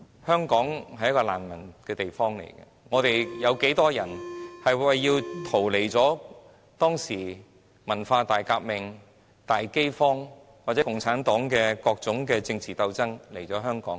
香港曾是一個難民地區，當年有多少人為了逃避文化大革命、大飢荒，或是共產黨的各種政治鬥爭來到香港？